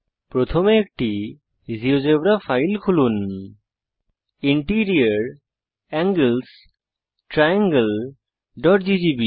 প্রথমে একটি GeoGebra file খুলুন ইন্টেরিওর এঙ্গেলস triangleজিজিবি